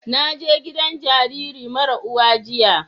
Na je gidan jariri mara uwa jiya